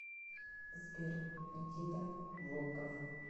сбер никита волков